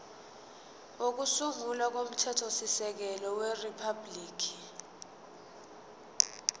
kokusungula komthethosisekelo weriphabhuliki